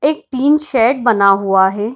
एक tin shed बना हुआ है।